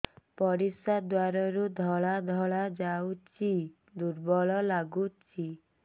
ପରିଶ୍ରା ଦ୍ୱାର ରୁ ଧଳା ଧଳା ଯାଉଚି ଦୁର୍ବଳ ଲାଗୁଚି